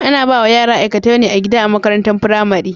Ana bawa yara aikatau na gida a makarantar pramari